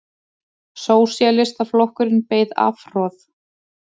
Sósíalistaflokkurinn beið afhroð